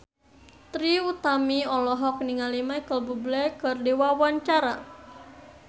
Trie Utami olohok ningali Micheal Bubble keur diwawancara